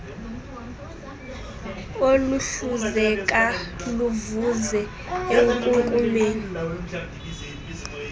oluhluzeka luvuze enkunkumeni